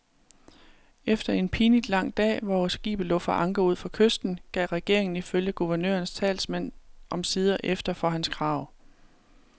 Efter en pinligt lang dag, hvor skibet lå for anker ud for kysten, gav regeringen ifølge guvernørens talsmand omsider efter for hans krav.